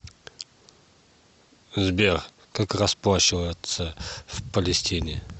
сбер как расплачиваться в палестине